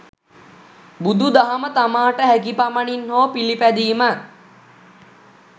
බුදු දහම තමාට හැකි පමණින් හෝ පිලිපැදීම